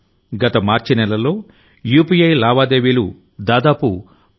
గత మార్చి నెలలో యూపీఐ లావాదేవీలు దాదాపు రూ